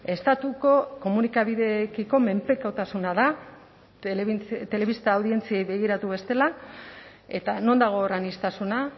estatuko komunikabideekiko menpekotasuna da telebista audientziei begiratu bestela eta non dago hor aniztasuna